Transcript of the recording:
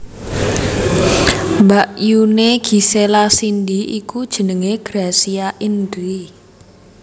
Mbakyuné Gisela Cindy iku jenengé Gracia Indri